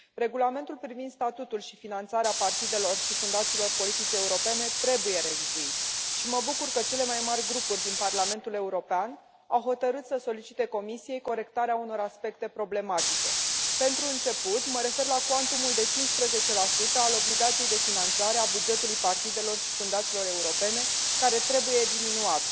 Regulamentul privind statutul și finanțarea partidelor și fundațiilor politice europene trebuie revizuit și mă bucur că cele mai mari grupuri din Parlamentul European au hotărât să solicite Comisiei corectarea unor aspecte problematice. Pentru început, mă refer la cuantumul de 15 al obligației de finanțare a bugetului partidelor și fundațiilor europene, care trebuie diminuat.